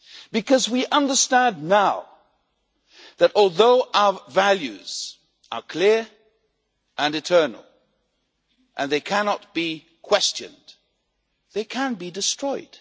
Because we understand now that, although our values are clear and eternal and cannot be questioned, they can be destroyed.